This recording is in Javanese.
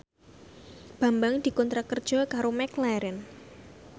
Bambang dikontrak kerja karo McLarren